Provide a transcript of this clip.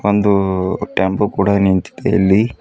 ಒಂದು ಟ್ಯಾಂಪೂ ಕೂಡ ನಿಂತಿದೆ ಇಲ್ಲಿ--